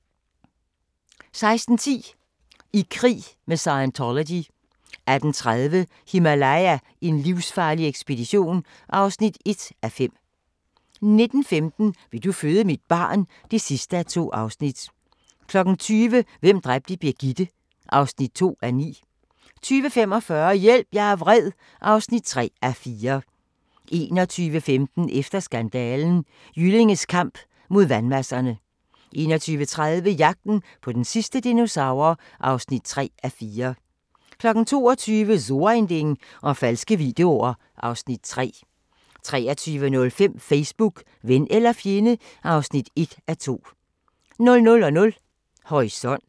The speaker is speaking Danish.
16:10: I krig med Scientology 18:30: Himalaya: en livsfarlig ekspedition (1:5) 19:15: Vil du føde mit barn? (2:2) 20:00: Hvem dræbte Birgitte? (2:9) 20:45: Hjælp, jeg er vred (3:4) 21:15: Efter skandalen: Jyllinges kamp mod vandmasserne 21:30: Jagten på den sidste dinosaur (3:4) 22:00: So ein Ding og falske videoer (Afs. 3) 23:05: Facebook - ven eller fjende (1:2) 00:00: Horisont